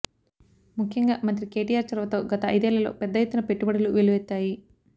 ముఖ్యంగా మంత్రి కేటీఆర్ చొరవతో గత ఐదేళ్లలో పెద్ద ఎత్తున పెట్టుబడులు వెల్లువెత్తాయి